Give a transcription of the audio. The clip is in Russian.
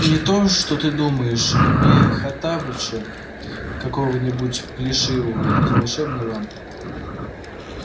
не то что ты думаешь не хоттабыча какого-нибудь плешивого из волшебной лампы